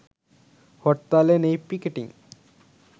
হরতালে নেই পিকেটিং